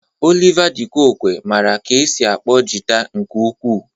Oliva de koque mara ka esi akpọ jịta nke ukwu.